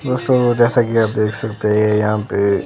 दोस्तों जैसा कि आप देख सकते हैं ये यहां पे--